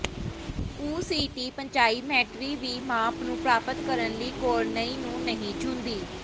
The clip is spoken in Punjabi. ਓਸੀਟੀ ਪੰਚਾਈਮੈਟਰੀ ਵੀ ਮਾਪ ਨੂੰ ਪ੍ਰਾਪਤ ਕਰਨ ਲਈ ਕੌਰਨਈ ਨੂੰ ਨਹੀਂ ਛੂਹਦੀ